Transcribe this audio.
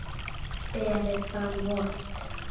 Berið fram volgt.